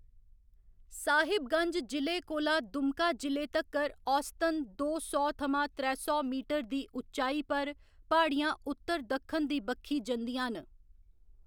साहिबगंज जि'ले कोला दुमका जि'ले तक्कर औसतन दो सौ थमां त्रै सौ मीटर दी उच्चाई पर प्हाड़ियां उत्तर दक्खन दी बक्खी जंदियां न।